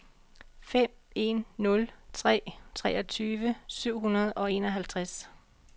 fem en nul tre treogtyve syv hundrede og enoghalvtreds